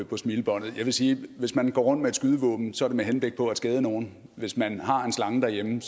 på smilebåndet jeg vil sige at hvis man går rundt med et skydevåben så er det med henblik på at skade nogen hvis man har en slange derhjemme